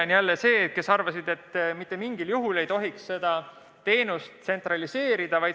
Osa avaldas arvamust, et mitte mingil juhul ei tohiks seda teenust tsentraliseerida.